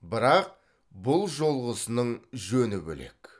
бірақ бұл жолғысының жөні бөлек